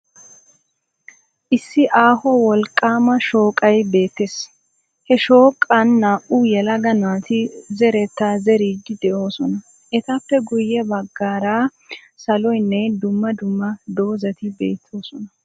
Issi aaho wolqqaama shooqay beettes. He shooqan naa"u yelaga naati zerettaa zeriiddi de'oosona. Etappe guyye baggaara saloynne dumma dumma dozzati beettoosona.